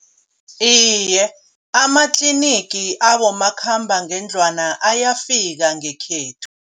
Iye amatlinigi abomakhambangendlwana ayafika ngekhethu.